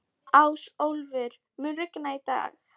Ásólfur, mun rigna í dag?